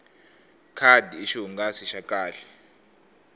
khadi i xihungasi xa kahle